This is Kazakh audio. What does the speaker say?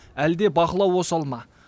әлде бақылау осал ма